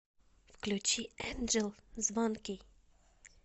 включи энджел звонкий